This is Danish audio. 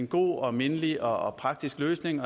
god mindelig og praktisk løsning